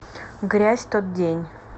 грязь тот день